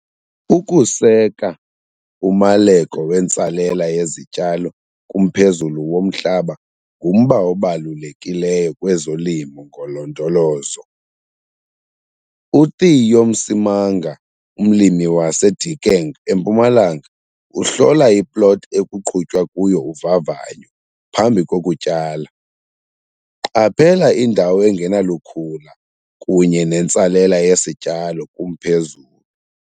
Ukuseka umaleko wentsalela yezityalo kumphezulu womhlaba ngumba obalulekileyo kwezoLimo ngoLondolozo. UTheo Msimanga, umlimi waseDiekeng eMpumalanga uhlola iplothi ekuqhutywa kuyo uvavanyo phambi kokutyala. Qaphela indawo engenalukhula kunye nentsalela yesityalo kumphezulu.